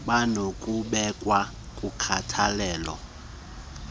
banokubekwa kukhathalelo logcino